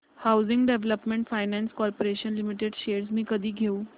housing development finance corporation limited shares मी कधी घेऊ